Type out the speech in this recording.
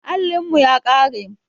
Allin mu ya ƙare